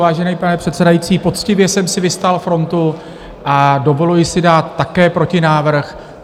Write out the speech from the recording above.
Vážený pane předsedající, poctivě jsem si vystál frontu a dovoluji si dát také protinávrh.